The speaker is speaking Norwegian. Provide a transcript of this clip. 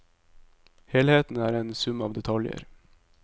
Helheten er en sum av detaljer.